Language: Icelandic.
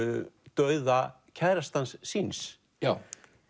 dauða kærastans síns